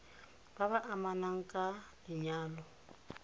ba ba amanang ka lenyalo